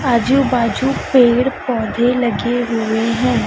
आजू बाजू पेड़ पौधे लगे हुए हैं।